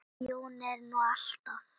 Jón er nú alltaf